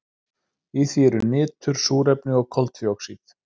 Í því eru nitur, súrefni og koltvíoxíð.